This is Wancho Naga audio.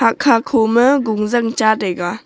hahkha khoma gungzang cha taiga.